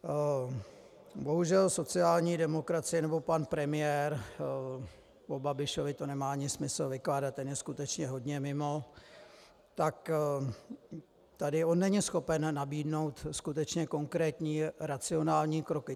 Bohužel sociální demokracie, nebo pan premiér, o Babišovi to nemá ani smysl vykládat, ten je skutečně hodně mimo, tak tady on není schopen nabídnout skutečně konkrétní racionální kroky.